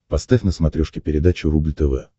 поставь на смотрешке передачу рубль тв